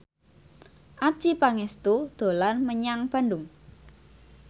Adjie Pangestu dolan menyang Bandung